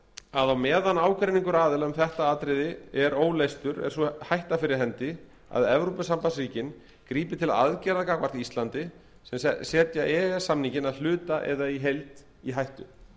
á meðan ágreiningur aðila um þetta efni er óleystur var sú hætta fyrir hendi að evrópusambandsríkin gripu til aðgerða gagnvart íslandi sem settu e e s samninginn að hluta eða í heild í hættu